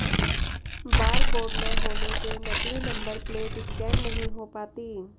बार code न होने से नकली नंबर प्लेट स्कैन नहीं हो पाती